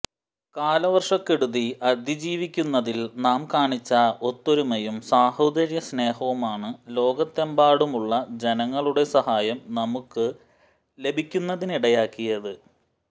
കാലവർഷക്കെടുതി അതിജീവിക്കുന്നതിൽ നാം കാണിച്ച ഒത്തൊരുമയും സാഹോദര്യ സ്നേഹവുമാണ് ലോകത്തെമ്പാടുമുള്ള ജനങ്ങളുടെ സഹായം നമുക്ക് ലഭിക്കുന്നതിനിടയാക്കിയത്